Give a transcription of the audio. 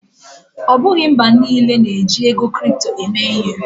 Ọ bụghị mba niile na-eji ego kripto eme ihe.